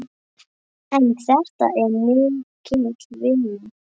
En þetta er mikil vinna.